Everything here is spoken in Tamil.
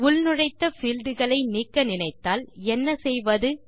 உள்நுழைத்த பீல்ட் களை நீக்க நினைத்தால் என்ன செய்வது